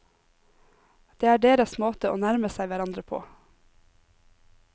Det er deres måte å nærme seg hverandre på.